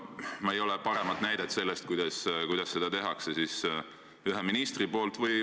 Ei ole aga paremat näidet kui see, kuidas seda teeb üks minister.